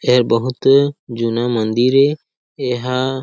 ये बहुत जूना मंदिर ए ये हा--